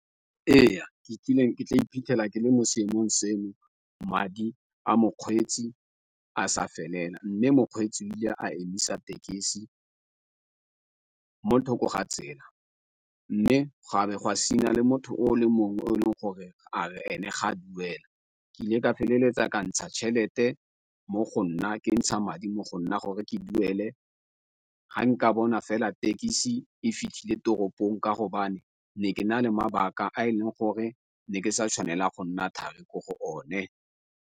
Ee, ke kile ke tla iphitlhela ke le mo seemong seno madi a mokgweetsi a sa felela mme mokgweetsi o ile a emisa tekesi mo thoko ga tsela, mme gwa be le motho o le mongwe o leng gore a re ene ga duela. Ke ile ka feleletsa ka ntsha tjhelete mo go nna ke ntsha madi mo go nna gore ke duele ga nka bona fela thekisi e fitlhile toropong ka ne ke na le mabaka a e leng gore ne ke sa tshwanela go nna thari ko go one.